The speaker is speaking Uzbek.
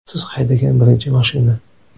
Siz haydagan birinchi mashina?